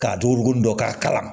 K'a dogo dɔ k'a kalan